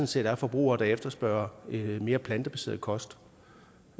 set er forbrugere der efterspørger mere plantebaseret kost